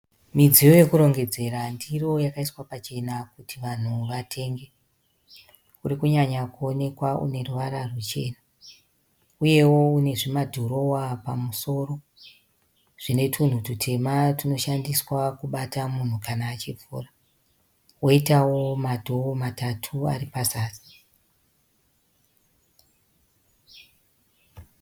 Midziyo yekurongedzera ndiro yakaiswa pachena kuti vanhu vatenge . Kurikunyanya kuonekwa uneruvara ruchena. Uyewo une zvimadhirowa pamusoro zvine tunhu tutema tunoshandiswa kabata munhu kana achivhura. Koitawo ma dhoo matatu ari pazasi.